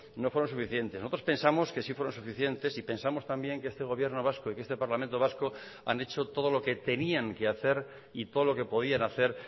no fueron suficientes nosotros pensamos que sí fueron suficientes y pensamos también que este gobierno vasco y que este parlamento vasco han hecho todo lo que tenían que hacer y todo lo que podían hacer